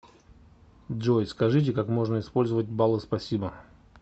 джой скажите как можно использовать баллы спасибо